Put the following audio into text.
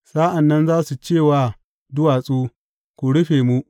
Sa’an nan za su ce wa duwatsu, Ku rufe mu!